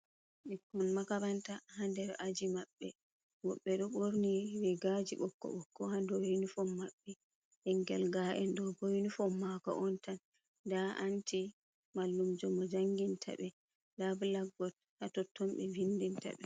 Bikkon makaranta ha nder aji maɓbe. wobbe do borni regaji bokko bokko ha dou yunifom mabbe. Bingel nga do bo yunifom mako on tan. Da anti mallumjo mo janginta be nda blakkbood ha totton be vindinta ɓe.